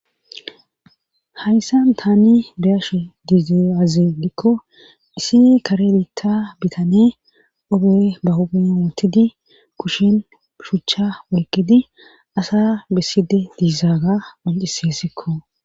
hayssan tani beyashe dizay aze gikko isi kare bita bitane obey bahoootidi kushin shuchcha woyqqidi asa besside diizaaga panciseessikko